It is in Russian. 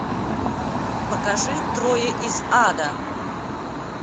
покажи трое из ада